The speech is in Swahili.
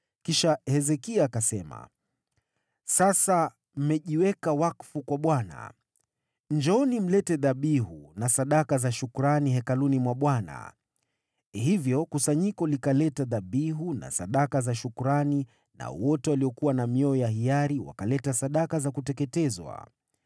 Kisha Hezekia akasema, “Sasa mmejiweka wakfu kwa Bwana . Njooni mlete dhabihu na sadaka za shukrani Hekaluni mwa Bwana .” Hivyo kusanyiko likaleta dhabihu na sadaka za shukrani, nao wote waliokuwa na mioyo ya hiari wakaleta sadaka za kuteketezwa.